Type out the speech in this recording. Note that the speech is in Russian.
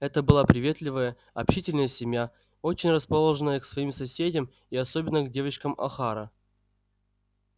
это была приветливая общительная семья очень расположенная к своим соседям и особенно к девочкам охара